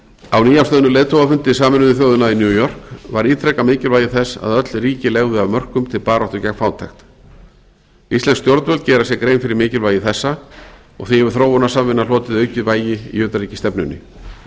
á nýafstöðnum leiðtogafundi sameinuðu þjóðanna í new york var ítrekað mikilvægi þess að öll ríki legðu af mörkum til baráttu gegn fátækt íslensk stjórnvöld gera sér grein fyrir mikilvægi þessa og því hefur þróunarsamvinna hlotið aukið vægi í utanríkisstefnunni